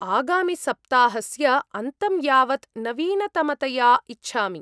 -आगामिसप्ताहस्य अन्तं यावत् नवीनतमतया इच्छामि।